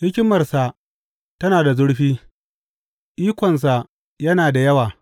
Hikimarsa tana da zurfi, ikonsa yana da yawa.